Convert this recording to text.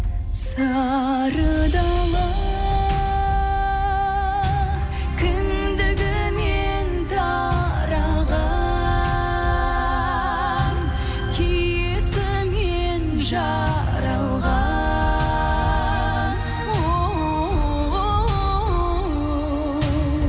сары дала кіндігімнен тараған киесінен жаралған оу